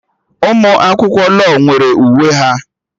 Ụmụ akwụkwọ law nwere uwe ha